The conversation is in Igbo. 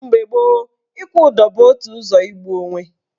Mgbe gboo, ịkwụ ụdọ bụ otu ụzọ igbu onwe.